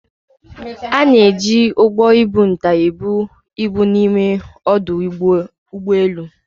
A na-eji ụgbọ ibu nta ebu ibu n'ime ọdụ ụgbọ elu.